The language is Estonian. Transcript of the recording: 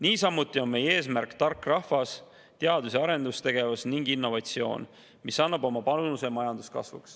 Niisamuti on meie eesmärk tark rahvas, teadus- ja arendustegevus ning innovatsioon, mis annab oma panuse majanduskasvu.